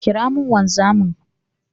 Ƙira mun wanzamin!